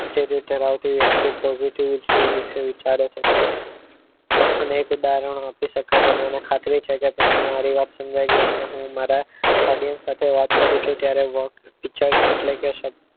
જે તે ધરાવતી વ્યક્તિ positive વૃતિ વિશે વિચારે છે તેના તો અનેક ઉદાહરણ આપી શકાય પણ મને ખાતરી છે કે તમને મારી વાત સમજાઈ ગઈ હશે હું મારા Audience સાથે વાત કરું છું ત્યારે work વિચાર એટલે કે શક્તિ